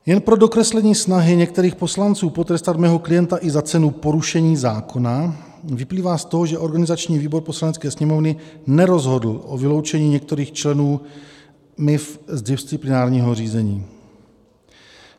Jen pro dokreslení snahy některých poslanců potrestat mého klienta i za cenu porušení zákona vyplývá z toho, že organizační výbor Poslanecké sněmovny nerozhodl o vyloučení některých členů MIV z disciplinárního řízení.